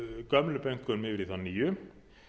gömlu bönkunum yfir í þá nýju